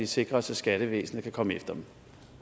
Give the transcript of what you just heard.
sikre os at skattevæsenet kan komme efter dem